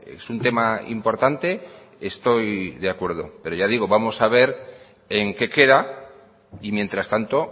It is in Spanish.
es un tema importante estoy de acuerdo pero ya digo vamos a ver en qué queda y mientras tanto